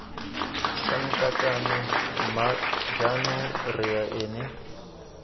sankatane mma jaanong rre ene